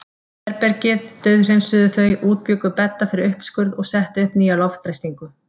Herbergið dauðhreinsuðu þau, útbjuggu bedda fyrir uppskurð og settu upp nýja loftræstingu.